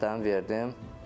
Sənədlərimi verdim.